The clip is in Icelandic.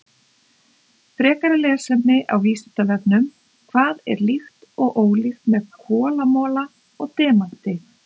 Frekara lesefni á Vísindavefnum: Hvað er líkt og ólíkt með kolamola og demanti?